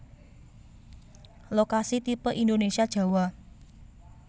Lokasi tipe Indonesia Jawa